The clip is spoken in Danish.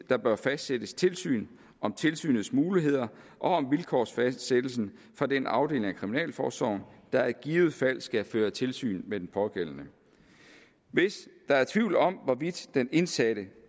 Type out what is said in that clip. der bør fastsættes tilsyn om tilsynets muligheder og om vilkårsfastsættelsen fra den afdeling af kriminalforsorgen der i givet fald skal føre tilsyn med den pågældende hvis der er tvivl om hvorvidt den indsatte